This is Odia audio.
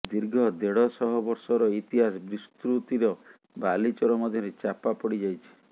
ଦୀର୍ଘ ଦେଢ଼ଶହ ବର୍ଷର ଇତିହାସ ବିସ୍ତୃତିର ବାଲିଚର ମଧ୍ୟରେ ଚାପା ପଢ଼ି ଯାଇଛି